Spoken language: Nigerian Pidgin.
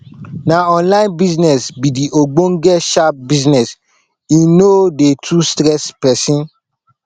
na online business be de ogbenge sharp business e no dey too stress pesin